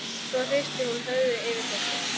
Svo hristir hún höfuðið yfir þessu.